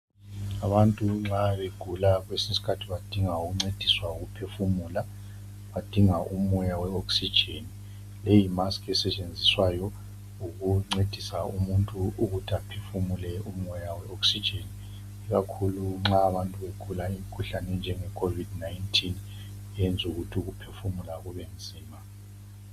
Abantu nxa begula kwesinye isikhathi badinga ukuncediswa ngokuphefumula badinga umoya weoxygen leyi yimask esetshenziswayo ukuncedisa umuntu ukuthi aphefumule umoya weoxygen ikakhulu nxa abantu begula imikhuhlane enjengeCovid 19 eyenza ukuthi ukuphefumula kube nzima.